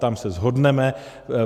Tam se shodneme.